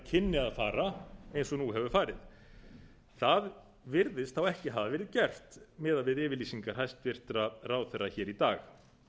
kynni að fara eins og nú hefur farið það virðist þá ekki hafa verið gert miðað við yfirlýsingar hæstvirtur ráðherra hér í dag